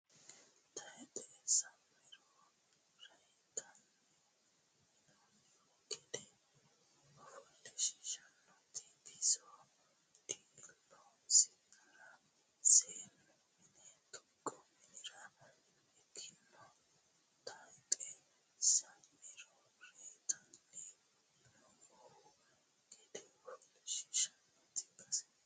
Tayxe sa iniro reytinanni yinoonnihu gede Ofoshshiishshannoti biso dilleessannore seennu mine tuqa minira higino Tayxe sa iniro reytinanni yinoonnihu gede Ofoshshiishshannoti biso.